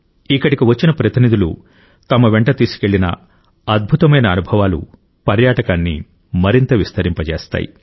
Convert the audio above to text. ఇక్కడికి వచ్చిన ప్రతినిధులు తమ వెంట తీసుకెళ్లిన అద్భుతమైన అనుభవాలు పర్యాటకాన్ని మరింత విస్తరింపజేస్తాయి